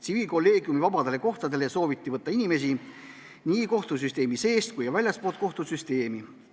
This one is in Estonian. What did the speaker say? Tsiviilkolleegiumi vabadele kohtadele sooviti võtta inimesi nii kohtusüsteemi seest kui ka väljastpoolt kohtusüsteemi.